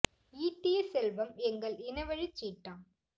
ஈட்டிய செல்வம் எங்கள் இனவழிச் சீட்டாம்